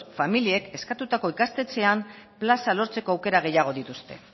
familiek eskatutako ikastetxean plaza lortzeko aukera gehiago dituzte